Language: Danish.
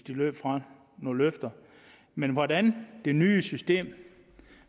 løbet fra nogle løfter men hvordan det nye system